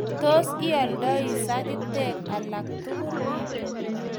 Tos, ioldi sagitek alak tugul?